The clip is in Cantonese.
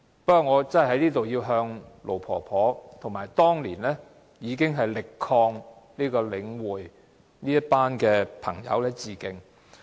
不過，我在這裏要向盧婆婆和當年力抗領展的朋友致敬。